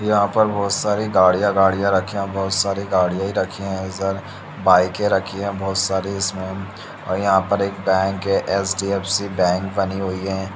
यहां पर बहुत सारी गड़िया गड़िया रखी है और बहुत सारी गड़िया ही रखे है इधर बाइकें रखी है बहुत सारी इसमे और यहां पर एक बैंक है एच.डी.एफ.सी. बैंक बनी हुई है।